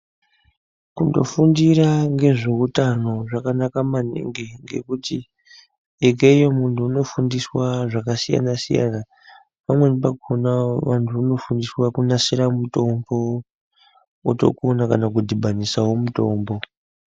Kunofundira ngezveutano zvakanaka maningi ngekuti ikweyo muntu unofundiswa zvakasiyana-siyana pamwe pakona vanhu vanofundiswa kunasira mutombo otogona kana kudhibhanisawo mutombo.